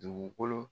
Dugukolo